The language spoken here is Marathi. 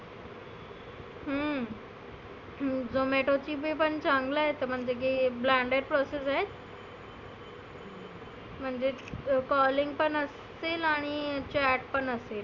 हम्म zomato ची पण चांगलं आहे. म्हणजे की Blender process आहे. म्हणजे calling पण असतील आणि chat पण असेल.